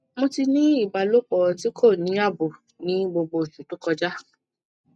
mo ti ni ibalopo ti ko ni abo ni gbogbo osu to koja